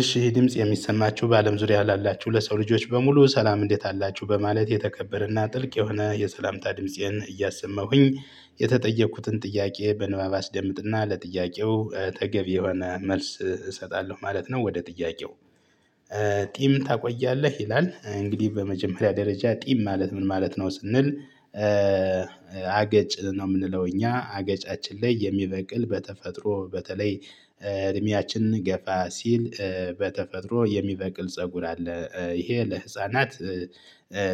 እሺ ድምጽ የሚሰማችሁ በአለም ዙሪያ ላላችሁ ለሰው ልጆች በሙሉ ሰላም እንዴት አላችሁ በማለት የተከበረና ጥልቅ የሆነ የሰላምታ ድምፄን እያሰመሁኝ የተጠየቁትን ጥያቄ በንባብ አስደምጥና ለጥያቄው ተገቢ የሆነ መልስ እሰጣለሁ ማለት ነው። ወደ ጥያቄው? ጢም ታቆያለህ ይላል እንግዲህ በመጀመሪያ ደረጃ ጢም ማለት ምን ማለት ነው ስንል? አገጭ ነው የምንለው እኛ አገጫችን ላይ የሚበቅል በተፈጥሮ በተለይ ገፋ ሲል በተፈጥሮ የሚበቅል ፀጉር አለ ይሄ ለህፃናት።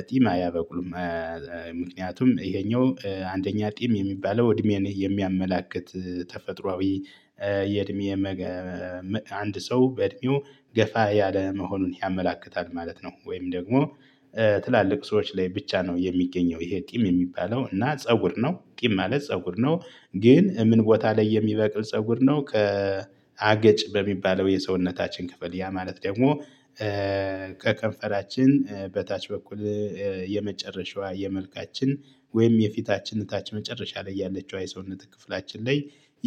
ጢም አያበቁም። ምኩኒያቱም ይሄኛው አንደኛ ጢም የሚባለው እድሜን የሚያመላክት ተፈጥሮአዊ የእድሜ አንድ ሰው በእድሜው ገፋ ያለ መሆኑን ያመላክታል ማለት ነው። ወይም ደግሞ ትላልቅ ሰዎች ላይ ብቻ ነው የሚገኘው ይሄ ጥም የሚባለው እና ፀጉር ነው ቂም ማለት ፀጉር ነው። ግን ምን ቦታ ላይ የሚበቅል ፀጉር ነው? አገጭ በሚባለው የሰውነታችን ክፈል ያ ማለት ደግሞ ከከንፈራችን በታች በኩል የመጨረሻዋ የመልካችን ወይም የፊታችን ታች መጨረሻ ላይ ያለችው የሰውነት ክፍላችን ላይ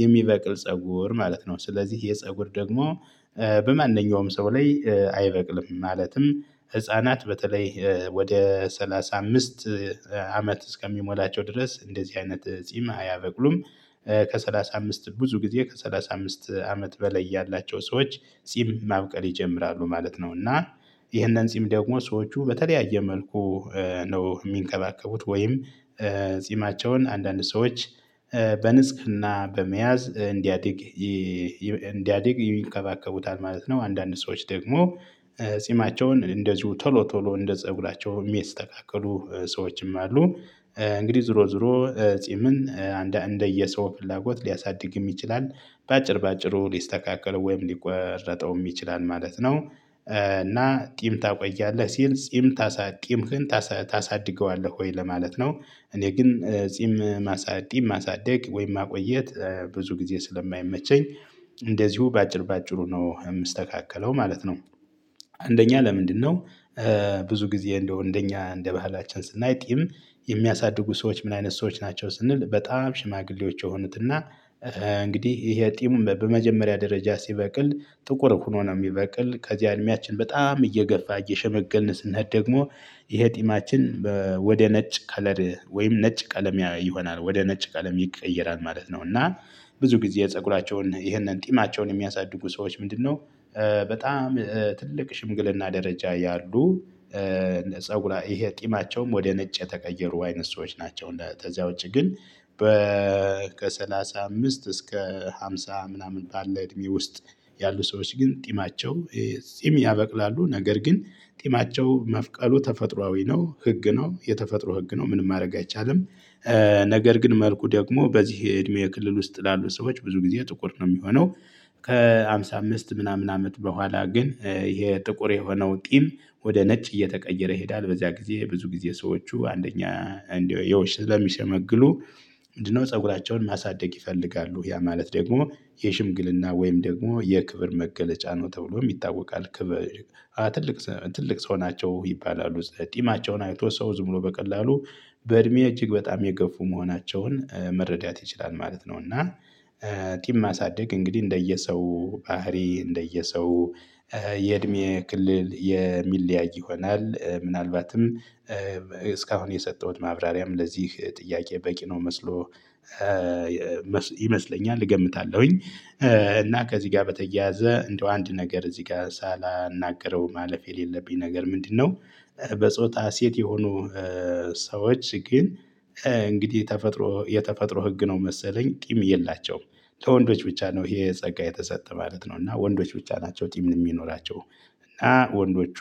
የሚበቅል ፀጉር ማለት ነው። ስለዚህ የፀጉር ደግሞ በማንኛውም ሰው ላይ አይበቅልም ማለትም ህፃናት በተለይ ወደ ስ አመት እስከሚሞላቸው ድረስ እንደዚህ አይነት ጺም አያበቅሉም። ከሠላሳ አምስት ብዙ ጊዜ ከሠላሳ አምስት አመት በላይ ያላቸው ሰዎች ጺም ማብቀል ይጀምራሉ ማለት ነው። እና ይህንን ጺም ደግሞ ሰዎቹ በተለያየ መልኩ ነው የሚንቀባቀቡት ወይም ጺማቸውን አንዳንድ ሰዎች በንስክና በመያዝ እንዲያዲግ እንዲያዲግ ይንከባቀቡታል ማለት ነው። አንዳንድ ሰዎች ደግሞ ጺማቸውን እንደዚሁ ቶሎ ቶሎ እንደ ፀጉራቸው የሚስተካከሉ ሰዎችም አሉ። እንግዲህ ዝሮ ዞሮ ዞሮ ጺምን እንደየሰው ፍላጎት ሊያሳድግ ይችላል። በአጭር በአጭሩ ሊስተካከለው ወይም ሊቆረጠው የሚችላል ማለት ነው። እና ጢም ታቆያለህ ሲል ጢም ታሳድግ ጢም ታሳድገዋለህ ወይ ለማለት ነው። እኔ ግን ጺም ማሳደግ ማሳደግ ወይም ማቆየት ብዙ ጊዜ ስለማይመቸኝ እንደዚሁ በአጭር በአጭሩ ነው የምስተካከለው ማለት ነው። አንደኛ ለምንድነው? ብዙ ጊዜ እንደው አንደኛ እንደ ባህላችን ስናይ ጥይም የሚያሳድጉ ሰዎች ምን አይነት ሰዎች ናቸው ስንል በጣም ሽማግሌዎች የሆኑትና። እንግዲህ ይሄ ጢሙን በመጀመሪያ ደረጃ ሲበቅል ጥቁር ሆኖ ነው የሚበቅል ከዚህ አይነታችን በጣም እየገፋ እየሸመገነስነት ደግሞ የህጢማችን ወደ ነጭ ከለር ወይም ነጭ ቀለም ይሆናል ወደ ነጭ ቀለም ይቀየራል ማለት ነው። እና ብዙ ጊዜ የፀጉራቸውን ይሄንን ጢማቸውን የሚያሳድጉ ሰዎች ምንድነው? በጣም ትልቅ ሽምግልና ደረጃ ያሉ። ፀጉራ ይሄ ጥማቸውም ወደ ነጭ የተቀየሩ አይነት ሰዎች ናቸው ለተዚያ ውጪ ግን በ ከሠላሳ አምስት እስከ ሃምሳ ምናምን ቃል ላይ እድሜ ውስጥ ያሉ ሰዎች ግን ጢማቸው እዚህም ያበቅላሉ ነገር ግን ጢማቸው መብቀሉ ተፈጥሮአዊ ነው ህግ ነው የተፈጥሮ ህግ ነው ምንም ማድረግ አይቻልም። ነገር ግን መልኩ ደግሞ በዚህ እድሜ ክልል ውስጥ ላሉ ሰዎች ብዙ ጊዜ ጥቁር ነው የሚሆነው። ከሃምሳ አምስት ምናምን አመት በኋላ ግን ይሄ ጥቁር የሆነው ጥም ወደ ነጭ እየተቀየረ ይሄዳል በዚያ ጊዜ ብዙ ጊዜ ሰዎቹ አንደኛ እንደው የውሸት በሚሸመግሉ ምንድነው? ፀጉራቸውን ማሳደግ ይፈልጋሉ ያ ማለት ደግሞ የሽምግልና ወይም ደግሞ የክብር መገለጫ ነው ተብሎ የሚታወቅ። ትልቅ ትልቅ ሰው ናቸው ይባላሉ ጢማቸውን አይቶ ሰው ዝም ብሎ በቀላሉ በእድሜ እጅግ በጣም የገፉ መሆናቸውን መረዳት ይችላል ማለት ነው። እና ጢም ማሳደግ እንግዲህ እንደየሰው ባህሪ እንደየሰው የእድሜ ክልል የሚለያይ ይሆናል ምናልባትም። እስካሁን የሰጠሁት ማብራሪያም ለዚህ ጥያቄ በቂ ነው መስሎ ይመስለኛል። እገምታለሁኝ። እና ከዚህ ጋር በተያያዘ እንደው አንድ ነገር እዚህ ጋር ሳላናግረው ማለፍ የሌለብኝ ነገር ምንድነው? በጾታ ሴት የሆኑ ሰዎች ግን እንግዲህ ተፈጥሮ የተፈጥሮ ህግ ነው መሰለኝ ቂም የላቸውም። ለወንዶች ብቻ ነው ይሄ ጸጋ የተሰጠ ማለት ነው እና ወንዶች ብቻ ናቸው ጢም የሚኖራቸው። እና ወንዶቹ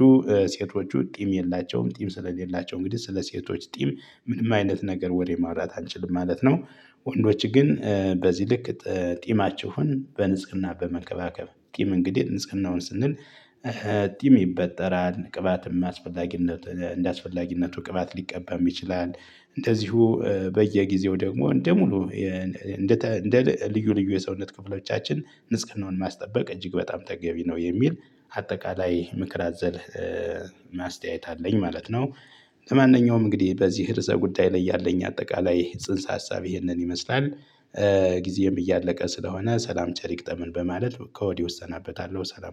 ሴቶቹ ጢም የላቸውም ጢም ስለሌላቸው እንግዲህ ስለ ሴቶች ጥም ምንም አይነት ነገር ወዴት ማውራት አንችልም ማለት ነው። ወንዶች ግን በዚህ ልክ ጢማችሁን በንጽህና በመንከባከብ ጥም እንግዲህ ንጽህናውን ስንል ጥም ይበጠራል ቅባት የማስፈላጊነት እንደማስፈላጊነቱ ቅባት ሊቀባም ይችላል። እንደዚሁ በየጊዜው ደግሞ እንደ ሙሉ እንደ እንደ ልዩ ልዩ የሰውነት ክፍሎቻችን ምስጋናውን ማስጠበቅ እጅግ በጣም ተገቢ ነው የሚል አጠቃላይ ምክር አዘል ማስተያየት አለኝ ማለት ነው። ለማንኛውም እንግዲህ በዚህ ርዘህ ጉዳይ ላይ ያለኝ አጠቃላይ ጽንሰ ሀሳብ ይሄንን ይመስላል። ጊዜም እያለቀ ስለሆነ ሰላም ጨርሻለውም በማለት ከወዲህ ወሰናበታለሁ ሰላም